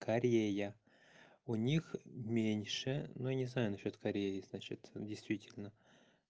корея у них меньше но не знаю насчёт кореи значит действительно